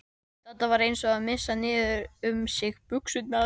Þetta var eins og að missa niður um sig buxurnar.